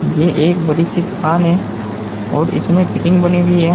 ये एक बड़ी सी दुकान है और इसमें फिटिंग बनी हुई है।